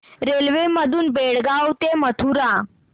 railway मधून बेळगाव ते मथुरा